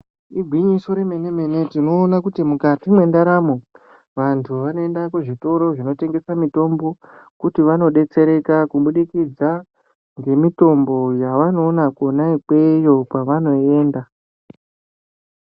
Igwinyiso remene mene tinoona kuti mukati mendaramo vantu vanoenda kuzvitoro zvinotengesa mitombo kuti vanodetsereka Nemitombo yavanoona Kona ikweyo kwavanoenda.